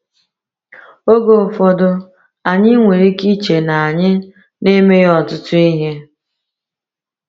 Oge ụfọdụ, anyị nwere ike iche na anyị na-emeghị ọtụtụ ihe.